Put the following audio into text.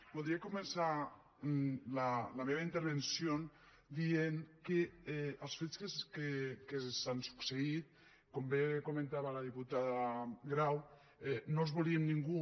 voldria començar la meva intervenció dient que els fets que han succeït com bé comentava la diputada grau no els volia ningú